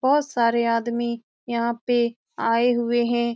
बहोत सारे आदमी यहाँ पे आये हुए हैं।